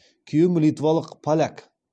күйеуім литвалық поляк